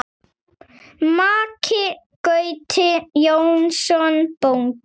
Maki Gauti Jónsson bóndi.